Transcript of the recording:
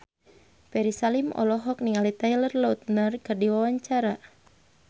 Ferry Salim olohok ningali Taylor Lautner keur diwawancara